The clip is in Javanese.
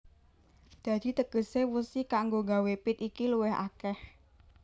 Dadi tegesé wesi kanggo nggawé pit iki luwih akèh